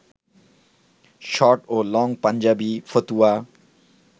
short ও long panjabi, ফতুয়া